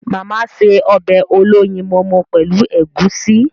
Màmá se ọbẹ̀ olóyinmọmọ pẹ́lu ègúsi..